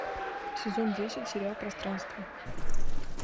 сезон десять сериал пространство